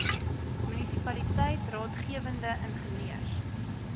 munisipaliteit raadgewende ingenieurs